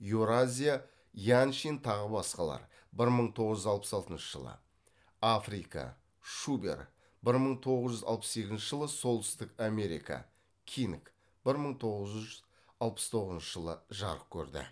еуразия яншин тағы басқалар бір мың тоғыз жүз алпыс алтыншы жылы африка шубер бір мың тоғыз жүз алпыс сегізінші жылы солтүстік америка кинг бір мың тоғыз жүз алпыс тоғызыншы жылы жарық көрді